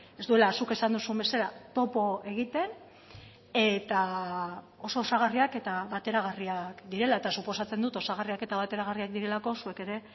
ez duela zuk esan duzun bezala topo egiten eta oso osagarriak eta bateragarriak direla eta suposatzen dut osagarriak eta bateragarriak direlako zuek ere